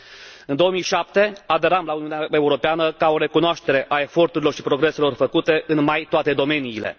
În anul 2007 aderam la Uniunea Europeană, ca o recunoaștere a eforturilor și progreselor făcute în mai toate domeniile.